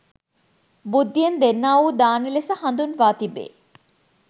බුද්ධියෙන් දෙන්නා වූ දාන ලෙස හඳුන්වා තිබේ.